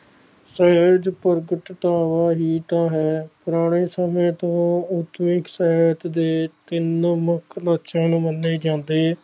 ਸਹਿਜ ਪ੍ਰਵਤ ਤੋਂ ਹੀ ਤਾਂ ਹੈ ਪੁਰਾਣੇ ਸਮੇ ਤੋਂ ਉਸੇ ਸਹਿਜ ਦੇ ਕਿੰਨੇ ਮੁਖ ਲੈਕਸ਼ਨ ਮੰਨੇ ਜਾਂਦੇ